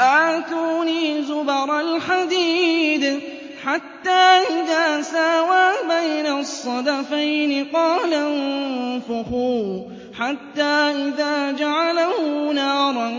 آتُونِي زُبَرَ الْحَدِيدِ ۖ حَتَّىٰ إِذَا سَاوَىٰ بَيْنَ الصَّدَفَيْنِ قَالَ انفُخُوا ۖ حَتَّىٰ إِذَا جَعَلَهُ نَارًا